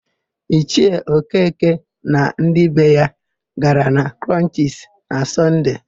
Ichie Okeke na ndị be ya gara na Krọnchisi na Sọnde.